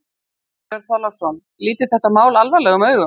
Björn Þorláksson: Lítið þetta mál alvarlegum augum?